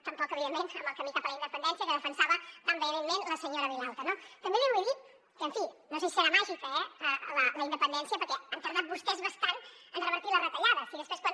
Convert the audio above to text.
tampoc evidentment en el camí cap a la independència que defensava tan vehementment la senyora vilalta no també li vull dir que en fi no sé si serà màgica eh la independència perquè han tardat vostès bastant en revertir les retallades i després quan